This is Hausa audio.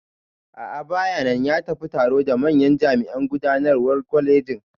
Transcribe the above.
A'a bayanan, ya tafi taro da manyan jami'an gudanarwan kwalegin